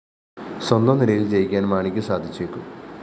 സ്വന്തം നിലയില്‍ ജയിക്കാന്‍ മാണിക്കു സാധിച്ചേക്കും